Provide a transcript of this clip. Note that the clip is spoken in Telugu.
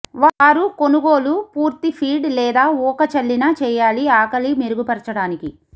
వారు కొనుగోలు పూర్తి ఫీడ్ లేదా ఊక చల్లిన చేయాలి ఆకలి మెరుగుపరచడానికి